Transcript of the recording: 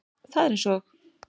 Það er eins og